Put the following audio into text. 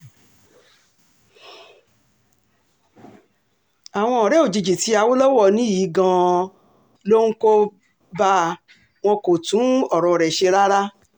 àwọn ọ̀rẹ́ òjijì tí awolowo ní yìí gan-an ló ń kó bá a wọn kò tún ọ̀rọ̀ rẹ̀ ṣe rárá